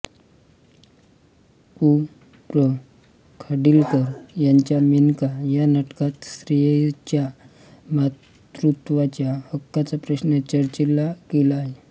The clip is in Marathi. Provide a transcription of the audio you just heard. कृ प्र खाडिलकर यांच्या मेनका या नाटकात स्त्रीच्या मातृत्वाच्या हक्काचा प्रश्न चर्चिला गेला आहे